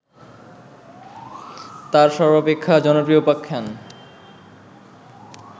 তার সর্বাপেক্ষা জনপ্রিয় উপাখ্যান